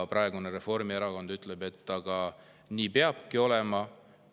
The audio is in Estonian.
Praegu Reformierakond ütleb, et nii peabki olema.